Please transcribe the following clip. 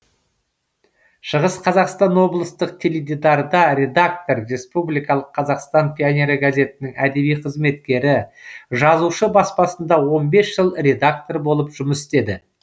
шығыс қазақстан облыстық теледидарда редактор республикалық қазақстан пионері газетінің әдеби қызметкері жазушы баспасында он бес жыл редактор болып жұмыс істеді